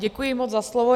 Děkuji moc za slovo.